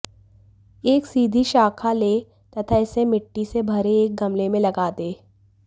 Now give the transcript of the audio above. एक सीधी शाखा लें तथा इसे मिट्टी से भरे एक गमले में लगा दें